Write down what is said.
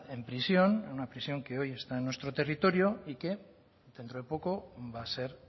en prisión en una prisión una prisión que hoy está en nuestro territorio y que dentro de poco va a ser